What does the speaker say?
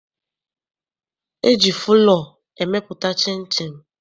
E ji fụlọọ emepụta chịnchịn.